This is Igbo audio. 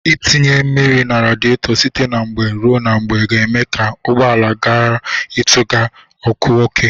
Ịtinye mmiri na radịetọ site na mgbe ruo na mgbe ga-eme ka ụgbọala gara ịtụbịga ọkụ oke.